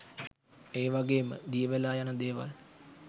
ඒ වගේම දියවෙලා යන දේවල්